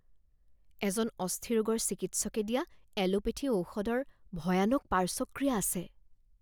এজন অস্থিৰোগৰ চিকিৎসকে দিয়া এলোপেথী ঔষধৰ ভয়ানক পাৰ্শ্বক্ৰিয়া আছে